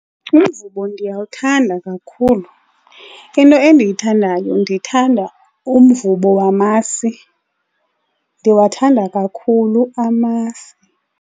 Umvubo ndiyawuthanda kakhulu. Into endiyithandayo ndithanda umvubo wamasi, ndiwathanda kakhulu amasi.